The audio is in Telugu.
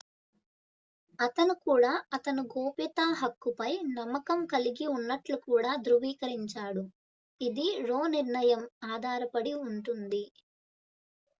అతను కూడా అతను గోప్యతా హక్కుపై నమ్మకం కలిగి ఉన్నట్లు కూడా ధ్రువీకరించాడు ఇది రో నిర్ణయం ఆధారపడి ఉంటుంది